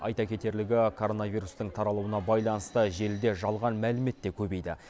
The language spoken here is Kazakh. айта кетерлігі коронавирустың таралуына байланысты желіде жалған мәлімет те көбейді